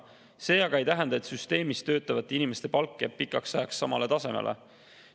See aga ei tähenda, et süsteemis töötavate inimeste palk jääb pikaks ajaks samale tasemele.